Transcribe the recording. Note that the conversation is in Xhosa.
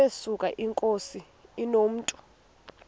yesuka inkosi inomntu